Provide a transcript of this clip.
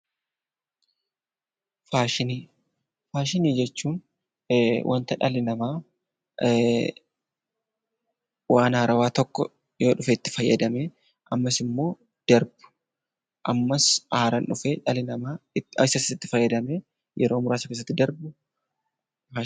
Faashinii jechuun waanta dhalli namaa waan haarawaa tokko yoo dhufe itti fayyadamee hammasitti immoo darbu. Ammas haaraan dhufee dhalli namaa isas itti fayyadamee yeroo muraasa keessatti darbu faashinii jenna.